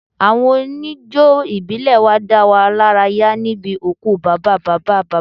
Àwọn oníjó ìbílẹ̀ wá dá wa lára yá níbi òkú bàbá bàbá bàbá mi